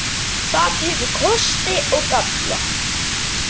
Það hefur kosti og galla.